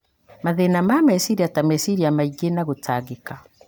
mathĩna ma meciria ta meciria maingĩ na gũtangĩka.